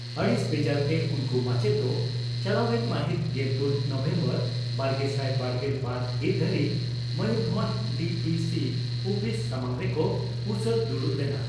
ᱟᱹᱲᱤᱥ ᱵᱮᱡᱟᱨᱛᱮ ᱩᱱᱠᱩ ᱢᱟᱪᱮᱛ ᱫᱚ ᱪᱟᱞᱟᱣ ᱮᱱ ᱢᱟᱹᱦᱤᱛ ᱜᱮᱞᱯᱩᱱ ᱱᱚᱵᱷᱮᱢᱵᱚᱨ ᱵᱟᱨᱜᱮᱥᱟᱭ ᱵᱟᱨᱜᱮᱞ ᱵᱟᱨ ᱦᱤᱛ ᱫᱷᱟᱹᱨᱤᱡ ᱢᱚᱭᱩᱨᱵᱷᱚᱸᱡᱽ ᱰᱤᱹᱯᱤᱹᱥᱤ ᱩᱯᱤᱥ ᱥᱟᱢᱟᱝ ᱨᱮᱠᱚ ᱩᱥᱟᱹᱫᱽ ᱫᱩᱲᱩᱵ ᱞᱮᱱᱟ ᱾